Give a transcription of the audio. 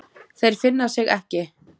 Þeir finna sig ekki.